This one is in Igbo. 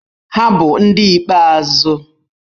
Ha bụ ndị ikpeazụ